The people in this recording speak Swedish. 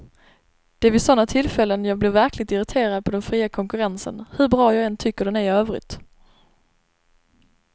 Det är vid sådana tillfällen jag blir verkligt irriterad på den fria konkurrensen, hur bra jag än tycker den är i övrigt.